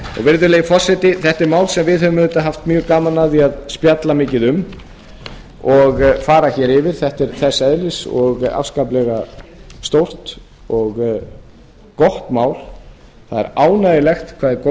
virðulegi forseti þetta er mál sem við höfum auðvitað haft mjög gaman af að spjalla mikið um og fara hér yfir þetta er þess eðlis og afskaplega stórt og gott mál það er ánægjulegt hvað það er góð